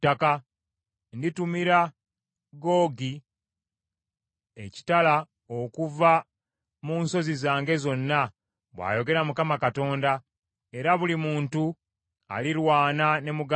Nditumira Googi ekitala okuva mu nsozi zange zonna, bw’ayogera Mukama Katonda, era buli muntu alirwana ne muganda we.